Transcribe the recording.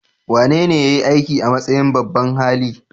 Wanene ya yi aiki a matsayin babban hali?